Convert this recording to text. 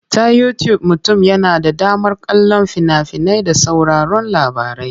Ta Yutub mutum yana da damar kallon fina-finai da sauraron labarai.